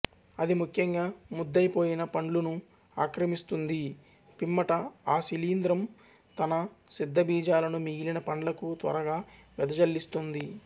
అది ముఖ్యంగా ముద్దైపోయిన పండ్లును ఆక్రమిస్తుంది పిమ్మట ఆ శిలీంధ్రం తన సిద్ధబీజాలను మిగిలిన పండ్లకు త్వరగా వెదజల్లిస్తుంది